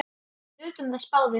Við nutum þess báðir.